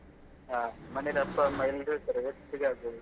ಹಾ ಮನೆಯಲ್ಲಿ ಅಪ್ಪ ಅಮ್ಮ ಎಲ್ಲರು ಇರ್ತಾರೆ ಒಟ್ಟಿಗೆ ಆಗ್ತದೆ